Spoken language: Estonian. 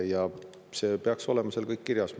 See peaks olema seal kõik kirjas.